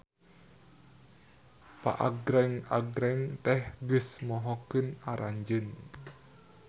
Paagreng-agreng teh geus mohokeun aranjeun.